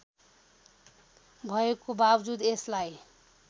भएको बावजुद यसलाई